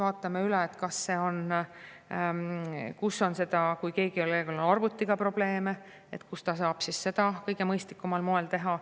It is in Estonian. Kui kellelgi on arvutiga probleeme, siis me vaatame üle, kus ta saab seda kõige mõistlikumal moel teha.